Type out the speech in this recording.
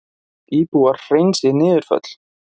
Íbúar hreinsi niðurföll